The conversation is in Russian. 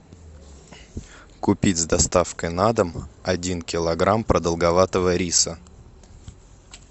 купить с доставкой на дом один килограмм продолговатого риса